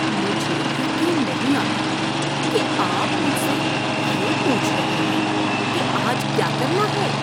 مجھے یقین نہیں آتا کہ آپ مجھ سے یہ پوچھ رہے ہیں کہ آج کیا کرنا ہے۔